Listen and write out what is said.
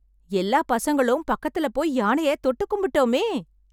எல்லா பசங்களும் பக்கத்துல போய் யானையை தொட்டு கும்புட்டோமே...